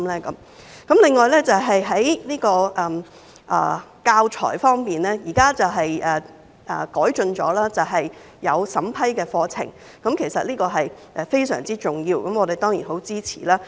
此外，在教材方面，現時已經有改進，對課程作出審批，這是非常重要的，我們當然十分支持。